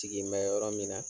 Sigin bɛ yɔrɔ min na